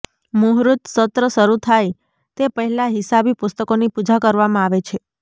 મુહૂર્ત સત્ર શરૂ થાય તે પહેલાં હિસાબી પુસ્તકોની પૂજા કરવામાં આવે છે